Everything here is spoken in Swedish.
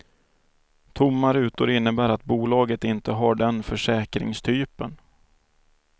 Tomma rutor innebär att bolaget inte har den försäkringstypen.